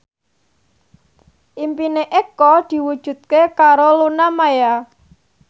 impine Eko diwujudke karo Luna Maya